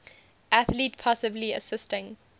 athlete possibly assisting